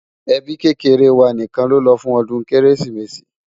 ẹbí kékeré wà nìkan ló ló fún odún kérésìmesì